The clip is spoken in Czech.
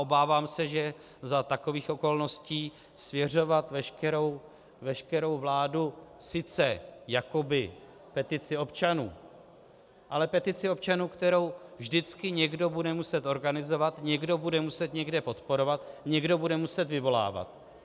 Obávám se, že za takových okolností svěřovat veškerou vládu sice jakoby petici občanů, ale petici občanů, kterou vždycky někdo bude muset organizovat, někdo bude muset někde podporovat, někdo bude muset vyvolávat.